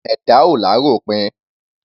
Ẹ̀dá ò l'áròpin.